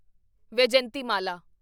Vyjayanthimala